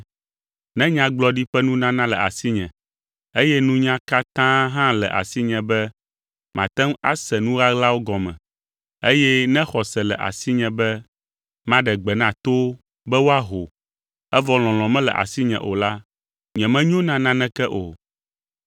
Ne nyagblɔɖi ƒe nunana le asinye, eye nunya katã hã le asinye be mate ŋu ase nu ɣaɣlawo gɔme, eye ne xɔse le asinye be maɖe gbe na towo be woaho, evɔ lɔlɔ̃ mele asinye o la, nyemenyo na naneke o.